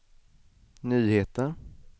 nyheter